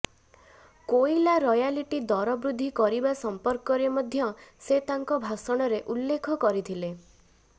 କେଇଲା royalty ଦର ବୃଦ୍ଧି କରିବା ସମ୍ପର୍କରେ ମଧ୍ୟ ସେ ତାଙ୍କ ଭାଷଣରେ ଉଲ୍ଲେଖ କରିଥିଲେ